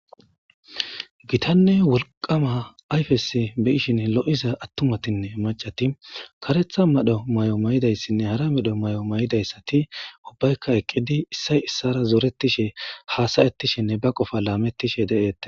gitanne wolqama ayfesi bi'ishin lo'iza attumatinne macati karetha madho mayo mayidayssinne hara medho mayo mayidayssati ubbaykka eqqidi issay issara zoretishe haasayettishinne ba qofa laamettishe de'eettes